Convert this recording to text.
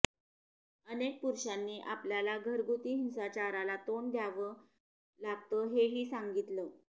अनेक पुरुषांनी आपल्याला घरगुती हिंसाचाराला तोंड द्यावं लागतं हेही सांगितलं